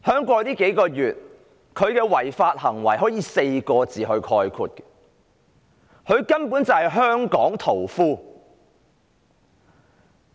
過去數月，她的違法行為可以用4個字概括，她根本就是"香港屠夫"。